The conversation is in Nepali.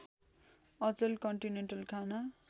अचेल कन्टिनेन्टल खाना